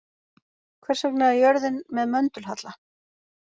Hvers vegna er jörðin með möndulhalla?